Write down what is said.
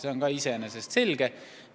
See on iseenesest selge.